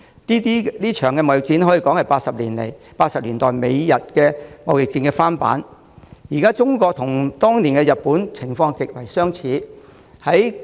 這場貿易戰可說是1980年代美日貿易戰的翻版，今日的中國和當年的日本情況極為相似。